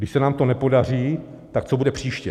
Když se nám to nepodaří, tak co bude příště?